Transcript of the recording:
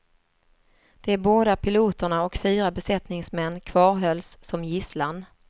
De båda piloterna och fyra besättningsmän kvarhölls som gisslan.